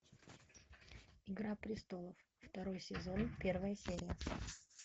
игра престолов второй сезон первая серия